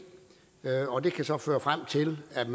og det kan så føre frem til at